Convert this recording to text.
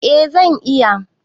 Eh zan iya.